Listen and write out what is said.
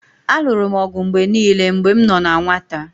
Alụrụ m ọgụ mgbe niile mgbe m nọ na nwata